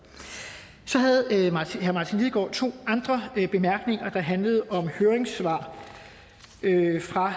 så havde herre martin lidegaard to andre bemærkninger der handlede om høringssvar fra